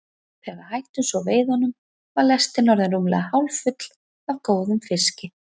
Þegar við hættum svo veiðunum var lestin orðin rúmlega hálffull af góðum fiski.